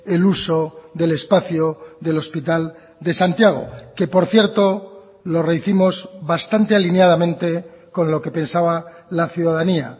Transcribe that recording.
el uso del espacio del hospital de santiago que por cierto lo rehicimos bastante alineadamente con lo que pensaba la ciudadanía